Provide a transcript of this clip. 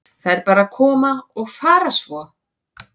Þær bara koma og fara svo.